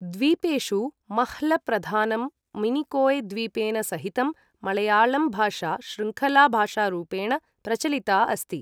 द्वीपेषु मह्ल प्रधानं मिनिकोय् द्वीपेन सहितं मळयालम् भाषा शृङ्खला भाषारूपेण प्रचलिता अस्ति।